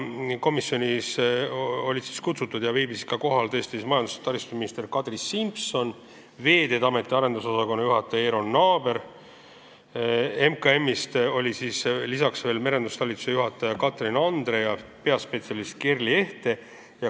Istungil viibisid kohal majandus- ja taristuminister Kadri Simson ja Veeteede Ameti arendusosakonna juhataja Eero Naaber, lisaks merendustalituse juhataja Katrin Andre ja peaspetsialist Gerli Ehte MKM-ist.